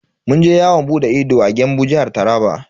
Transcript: Mun je yawon bude ido a Gembu, Jihar Taraba.